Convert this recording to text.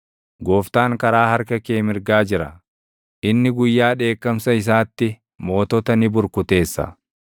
Gooftaan karaa harka kee mirgaa jira; inni guyyaa dheekkamsa isaatti mootota ni burkuteessa.